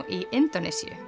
í Indónesíu